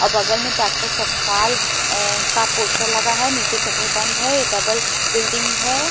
और बगल में डाक्टर सतपाल अ का पोस्टर लगा है शटर बंद है डबल बिल्डिंग है।